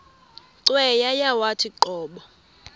cweya yawathi qobo